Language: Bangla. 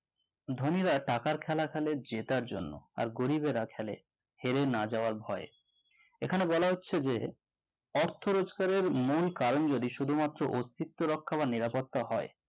ধনীরা টাকার খেলা খেলে জেতার জন্য আর গরীবেরা খেলে হেরে না যাওয়ার ভয়ে এখানে বলা হচ্ছে যে অর্থ রোজগারের মূল কারণ যদি শুধুমাত্র অস্তিত্ব রক্ষা বা নিরাপত্তা হয়